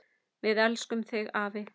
Við elskum þig afi!